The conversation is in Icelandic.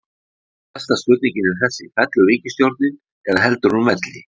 Stærsta spurningin er þessi, fellur ríkisstjórnin eða heldur hún velli?